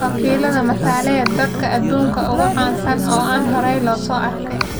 Wakiilada matalaya dadka aduunka ugu caansan oo aan horay loo arag.